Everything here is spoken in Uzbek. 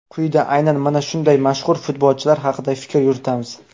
Quyida aynan mana shunday mashhur futbolchilar haqida fikr yuritamiz.